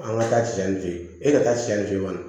An ka taa siɲɛ fe yen e ka taa siɲɛ fe yen nɔ